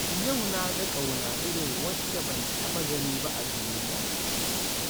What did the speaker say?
Yau na ga ƙauna irin wacce ban taɓa gani ba a duniya